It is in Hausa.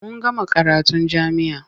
Mun gama karatun jami'a.